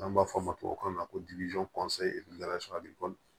N'an b'a fɔ o ma tubabukan na ko